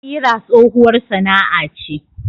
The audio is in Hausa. Kira tsohuwar sana'a ce.